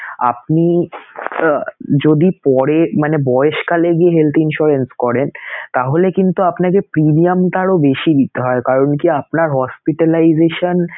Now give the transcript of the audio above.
আপনি আহ যদি পরে মানে বয়স্কালে গিয়ে health insurance করেন তাহলে কিন্তু আপনাকে premium টা আরো বেশি দিতে হয় কারন কি আপনার hospitalization